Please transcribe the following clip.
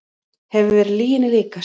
Hefur verið lyginni líkast